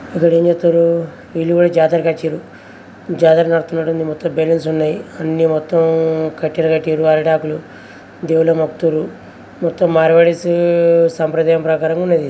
ఇక్కడ ఏం చేస్తున్నారు వీళ్ళు కూడా జాతరకు వచ్చిండ్రు జాతర నడుస్తున్నట్టు ఉన్నది మొత్తం బెలూన్స్ ఉన్నాయి అన్ని మొత్తం కట్టలు కట్టిండ్రు అరిటాకులు దేవుని మొక్కుతుండు మొత్తం మార్వాడిస్ సంప్రదాయం ప్రకారం ఉన్నది.